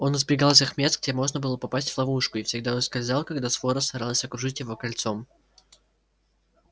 он избегал тех мест где можно было попасть в ловушку и всегда ускользал когда свора старалась окружить его кольцом